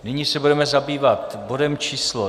Nyní se budeme zabývat bodem číslo